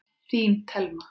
Þín, Thelma.